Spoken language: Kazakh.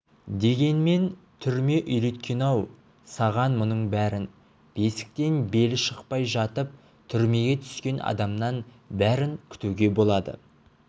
дегенмен түрме үйреткен-ау саған мұның бәрін бесіктен белі шықпай жатып түрмеге түскен адамнан бәрін күтуге болады